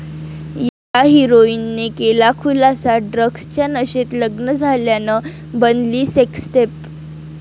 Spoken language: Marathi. या हिराॅईनने केला खुलासा, ड्रग्जच्या नशेत लग्न झाल्यानं बनली सेक्सटेप